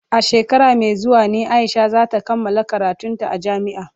A shekara mai zuwa ne Aisha za ta kammala karantun ta a jami'a.